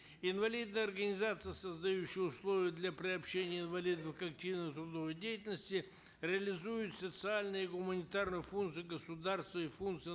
инвалидные организации создающие условия для приобщения инвалидов к активной трудовой деятельности реализует социальные гуманитарные функции государства и функции